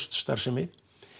starfsemi